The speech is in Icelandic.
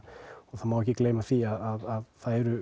það má ekki gleyma því að þær eru